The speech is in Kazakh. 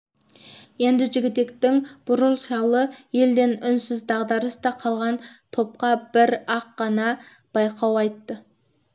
енді жігітектің бурыл шалы елден үнсіз дағдарыста қалған топқа бір-ақ қана байлау айтты